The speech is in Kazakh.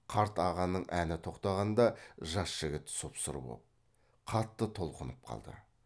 қарт ағаның әні тоқтағанда жас жігіт сұп сұр боп қатты толқынып қалды